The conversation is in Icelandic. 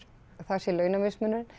að það sé launamismunurinn